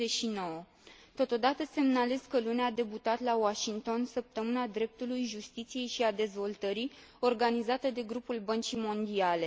59. Totodată, semnalez că luni a debutat la Washington Săptămâna dreptului, justiției și a dezvoltării, organizată de grupul Băncii Mondiale.